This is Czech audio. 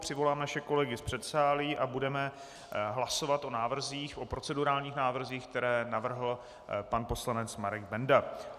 Přivolám naše kolegy z předsálí a budeme hlasovat o návrzích, o procedurálních návrzích, které navrhl pan poslanec Marek Benda.